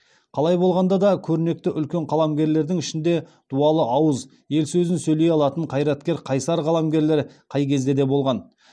қалай болғанда да көрнекті үлкен қаламгерлердің ішінде дуалы ауыз ел сөзін сөйлей алатын қайраткер қайсар қаламгерлер қай кезде де болған